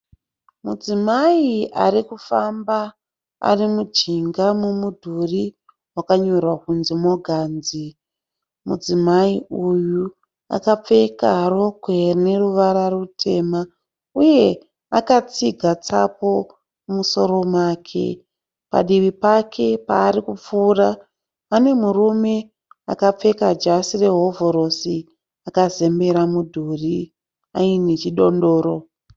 Mudzimai arikufamba arimujinga memudhuri wakanyorwa kunzi"Morgan's". Mudzimai uyu akapfeka rokwe rine ruvara rutema uye akatsiga tsapo mumusoro make. Padivi pake paarikupfuura pane murume akapfeka jasi rehovhorosi akazembera mudhuri aine chidondoro.